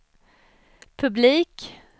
publik